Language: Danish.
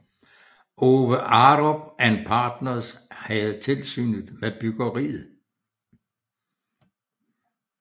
Ove Arup and Partners havde tilsynet med byggeriet